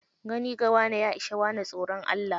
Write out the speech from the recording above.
Gani ga wane, ya ishi wane tsoron Allah.